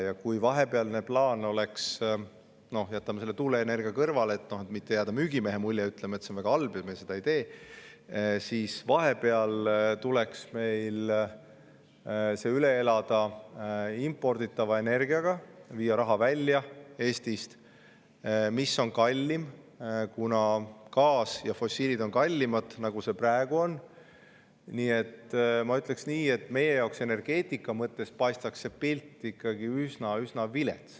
Ja kui vahepealne plaan oleks see, et meil tuleks – no jätame tuuleenergia kõrvale, et mitte jätta müügimehe muljet, ütleme, et see on väga halb ja seda me ei tee – see üle elada imporditava energiaga, viia raha Eestist välja, mis on kallim, kuna gaas ja fossiil on kallimad, nagu praegu on, siis ma ütleks, et meie jaoks paistaks pilt energeetika mõttes ikkagi üsna-üsna vilets.